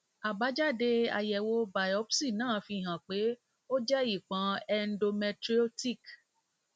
abájáde àyẹwò biopsi náà fi hàn pé ó jẹ ìpọn endometriotic